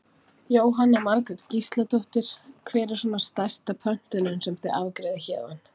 Jóhanna Margrét Gísladóttir: Hver er svona stærsta pöntunin sem þið afgreiðið héðan?